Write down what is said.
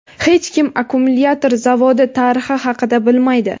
Hech kim akkumulyator zavodi tarixi haqida bilmaydi.